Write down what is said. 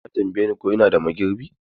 Ta tambaye ni ko ina da magirbi.